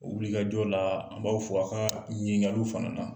O wilikajɔ laa, an' b'aw fo a' kaa ɲininkaliw fana na.